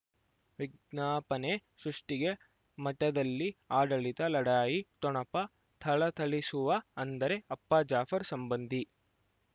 ವಿಜ್ಞಾಪನೆ ಸೃಷ್ಟಿಗೆ ಮಠದಲ್ಲಿ ಆಡಳಿತ ಲಢಾಯಿ ಠೊಣಪ ಥಳಥಳಿಸುವ ಅಂದರೆ ಅಪ್ಪ ಜಾಫರ್ ಸಂಬಂಧಿ